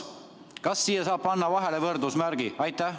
Kas siia saab panna vahele võrdusmärgi?